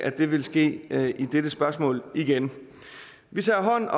at det vil ske i dette spørgsmål igen vi tager